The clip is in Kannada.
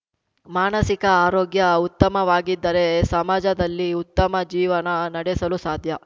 ಮಾನಸಿಕ ಆರೋಗ್ಯ ಉತ್ತಮವಾಗಿದ್ದರೆ ಸಮಾಜದಲ್ಲಿ ಉತ್ತಮ ಜೀವನ ನಡೆಸಲು ಸಾಧ್ಯ